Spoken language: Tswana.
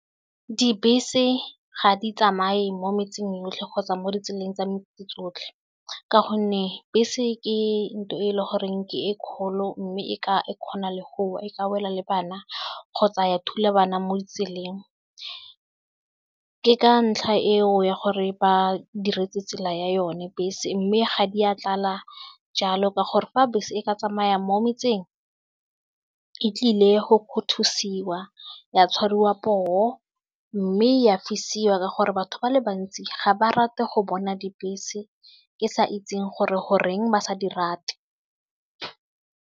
Dibese ga di tsamaye mo metseng yotlhe kgotsa mo ditseleng tsa tsotlhe ka gonne bese ke ntho e le goreng ke e kgolo mme e ka e kgona le go e ka wela le bana kgotsa ya thula bana mo ditseleng, ke ka ntlha eo ya gore ba diretse tsela ya yone bese mme ga di a tlala jalo ka gore fa bese e ka tsamaya mo metseng e tlile go kgothosiwa ya tshwariwa poo mme ya fisiwa gore batho ba le bantsi ga ba rate go bona dibese ke sa itseng gore goreng ba sa di rate.